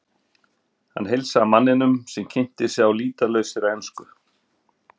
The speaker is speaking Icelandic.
Hann heilsaði manninum sem kynnti sig á lýtalausri ensku.